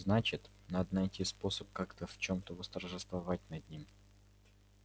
значит надо найти способ как-то в чем-то восторжествовать над ним